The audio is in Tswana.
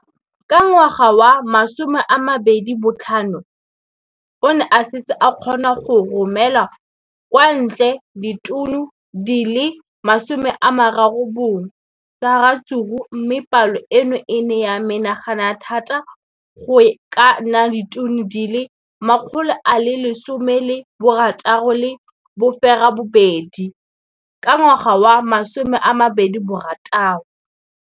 Ka ngwaga wa 2015, o ne a setse a kgona go romela kwa ntle ditone di le 31 tsa ratsuru mme palo eno e ne ya menagana thata go ka nna ditone di le 168 ka ngwaga wa 2016.